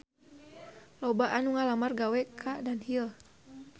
Loba anu ngalamar gawe ka Dunhill